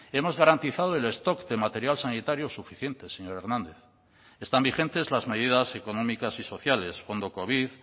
hemos garantizado el stock de material sanitario suficiente señor hernández están vigentes las medidas económicas y sociales fondo covid